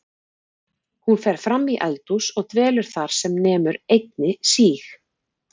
Hún fer fram í eldhús og dvelur þar sem nemur einni síg